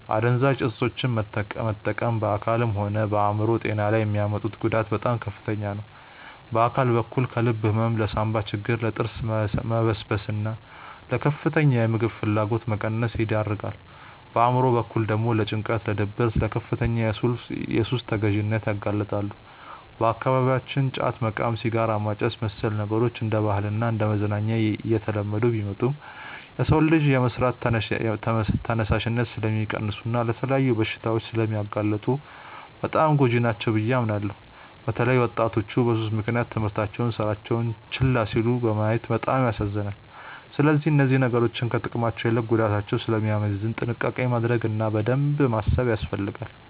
አደንዛዥ እፆችን መጠቀም በአካልም ሆነ በአእምሮ ጤና ላይ የሚያመጡት ጉዳት በጣም ከፍተኛ ነው። በአካል በኩል ለልብ ህመም፣ ለሳንባ ችግር፣ ለጥርስ መበስበስና ለከፍተኛ የምግብ ፍላጎት መቀነስ ይዳርጋል። በአእምሮ በኩል ደግሞ ለጭንቀት፣ ለድብርትና ለከፍተኛ የሱስ ተገዢነት ያጋልጣሉ። በአካባቢያችን ጫት መቃም፣ ሲጋራ ማጨስና መሰል ነገሮች እንደ ባህልና እንደ መዝናኛ እየተለመዱ ቢመጡም፣ የሰውን ልጅ የመስራት ተነሳሽነት ስለሚቀንሱና ለተለያዩ በሽታዎች ስለሚያጋልጡ በጣም ጎጂ ናቸው ብዬ አምናለሁ። በተለይ ወጣቶች በሱስ ምክንያት ትምህርታቸውንና ስራቸውን ችላ ሲሉ ማየት በጣም ያሳዝናል። ስለዚህ እነዚህ ነገሮች ከጥቅማቸው ይልቅ ጉዳታቸው ስለሚያመዝን ጥንቃቄ ማድረግ እና በደንብ ማሰብ ያስፈልጋል።